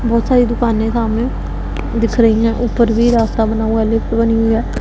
बहोत सारी दुकाने सामने दिख रही है ऊपर भी रास्ता बना हुआ है लिफ्ट बनी हुई है।